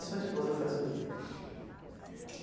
E sua esposa faz o que?